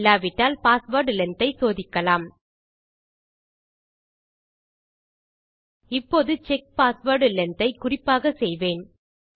இல்லாவிட்டால் password length ஐ சோதிக்கலாம் இப்போது செக் பாஸ்வேர்ட் லெங்த் ஐ குறிப்பாக செய்வேன்